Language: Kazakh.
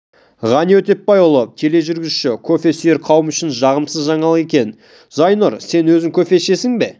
ғани өтепбайұлы тележүргізуші кофе сүйер қауым үшін жағымсыз жаңалық екен зайнұр сен өзің кофе ішесің бе